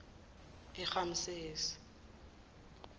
eramsesi